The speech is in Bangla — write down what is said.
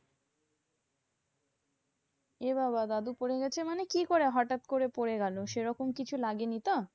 এ বাবা দাদু পরে গেছে মানে? মানে কি করে? হটাৎ করে পরে গেলো, সেরকম কিছু লাগেনি তো?